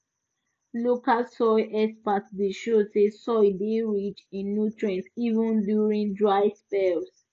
local soil experts dey show say soil dey rich in nutrients even during dry spells